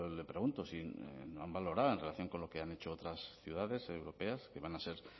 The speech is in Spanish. le pregunto si no han valorado en relación con lo que han hecho otras ciudades europeas que van a ser